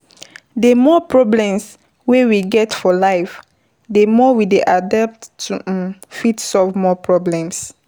The more problems wey we meet for life, di more we dey adapt to um fit solve more problems